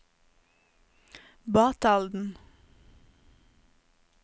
Batalden